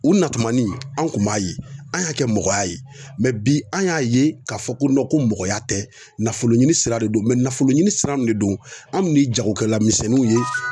U natumanin anw kun b'a ye an y'a kɛ mɔgɔya ye bi an y'a ye k'a fɔ ko ko mɔgɔya tɛ nafoloɲini sira de don nafoloɲini sira de don anw de ye jagokɛlamisɛnninw ye